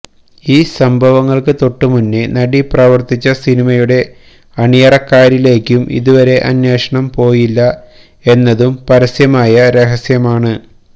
ഈ സംഭവങ്ങള്ക്ക് തൊട്ടു മുന്നേ നടി പ്രവര്ത്തിച്ച സിനിമയുടെ അണിയറക്കാരിലേക്കും ഇതുവരെ അന്വേഷണം പോയില്ല എന്നതും പരസ്യമായ രഹസ്യം ആണ്